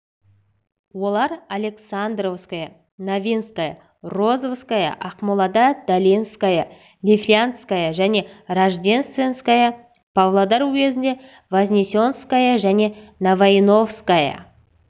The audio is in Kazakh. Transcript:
олар александровское новинская розовская ақмолада долинская лифляндская және рождественская павлодар уезінде вознесенская және новоиновская